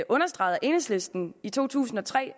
understreget af enhedslisten i to tusind og tre